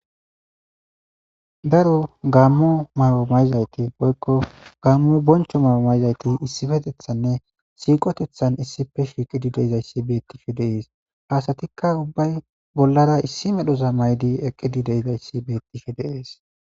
daro gaammo mawo mayzayti hoykko gaammo boncho mawo mayzayti issifetethanne siiqotethan issife shiiqidi deizayssi beettife deees haasatikka ubbay bollara issi medhoza maydi eqqidi deizayssi beettife deees